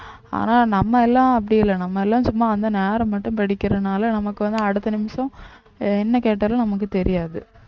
ஆனா நம்ம எல்லாம் அப்படி இல்லை நம்ம எல்லாம் சும்மா அந்த நேரம் மட்டும் படிக்கிறதுனால நமக்கு வந்து அடுத்த நிமிஷம் என்ன கேட்டாலும் நமக்கு தெரியாது